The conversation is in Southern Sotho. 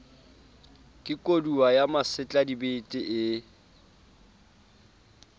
ke kodua ya masetladibete ee